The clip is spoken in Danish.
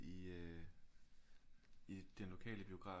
I øh i den lokale biograf